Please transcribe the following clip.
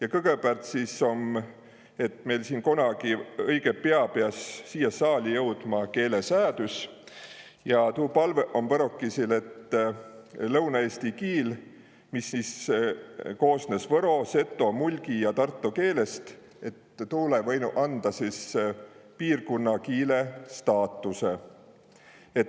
Aga kõgõpäält sõs tuu, et kunagi piät õigõ piä siia saali jõudma keelesäädüs ja tuu palvõ om võrokõisil, et lõunaeesti kiil, mis sõs koosnõs võro, seto, mulgi ja tarto keelest, saanu piirkunnakiile staatusõ.